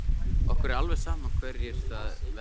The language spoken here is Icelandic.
Okkur er alveg sama hverjir það verða.